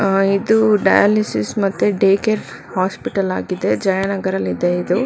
ಹಾ ಇದು ಡಯಾಲಿಸಿಸ್ ಮತ್ತೆ ಡೇ ಕೇರ್ ಹಾಸ್ಪಿಟಲ್ ಆಗಿದೆ ಜಯಾನಗರಲ್ಲಿದೆ ಇದು.